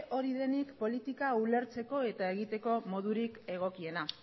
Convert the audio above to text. hori denik politika ulertzeko eta egiteko modurik egokiena